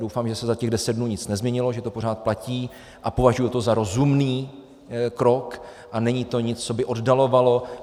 Doufám, že se za těch deset dnů nic nezměnilo, že to pořád platí, a považuji to za rozumný krok a není to nic, co by oddalovalo.